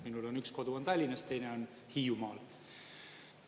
Minul on üks kodu Tallinnas, teine on Hiiumaal.